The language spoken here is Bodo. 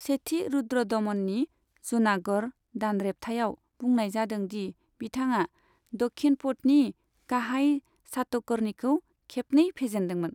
सेथि रुद्रदमननि जूनागढ़ दानरेबथायाव बुंनाय जादों दि बिथाङा दक्षिणपथनि गाहाय शातकर्णीखौ खेबनै फेजेनदोंमोन।